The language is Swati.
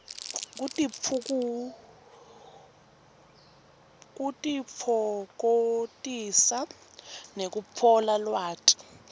kutitfokotisa nekutfola lwati